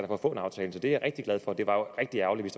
for at få en aftale så det er jeg rigtig glad for det var rigtig ærgerligt